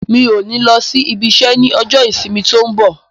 Mi ò ní lọ sí ibi isẹ́ ní ọjọ́ ìsinmi tó ń bọ̀